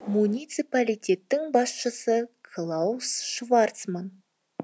муниципалитеттің басшысы клаус шварцман